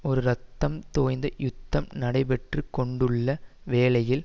ஒரு இரத்தம் தோய்ந்த யுத்தம் நடைபெற்று கொண்டுள்ள வேளையில்